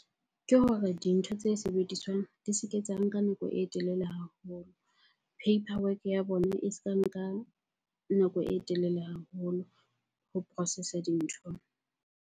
Ke hore dintho tse sebediswang di se ke tsa nka nako e telele haholo. Paperwork ya bona e se ka nka nako e telele haholo ho processor dintho.